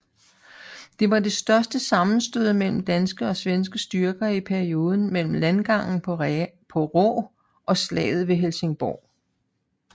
Det var det største sammenstød mellem danske og svenske styrker i perioden mellem landgangen ved Raa og slaget ved Helsingborg